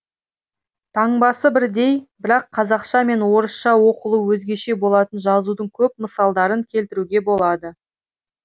таңбасы бірдей бірақ қазақша мен орысша оқылуы өзгеше болатын жазудың көп мысалдарын келтіруге болады